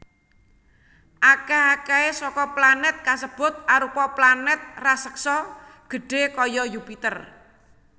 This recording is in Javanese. Akèh akèhé saka planèt kasebut arupa planèt raseksa gedhé kaya Yupiter